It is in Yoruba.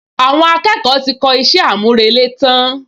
Àwọn akẹ́kọ̀ọ́ ti kọ iṣẹ́ àmúrelé tán